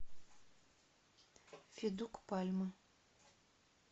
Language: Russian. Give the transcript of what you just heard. федук пальмы